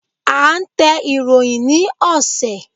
À ń tẹ ìròyìn ni ọ̀sẹ̀.